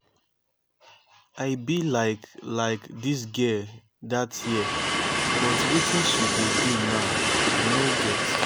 i be like like dis girl dat year but wetin she dey do now i no get